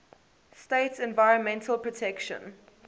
states environmental protection